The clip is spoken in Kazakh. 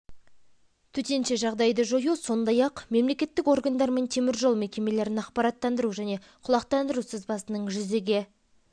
төтенше жағдайды жою сондай-ақ мемлекеттік органдар мен темір жол мекемелерін ақпараттандыру және құлақтандыру сызбасының жүзеге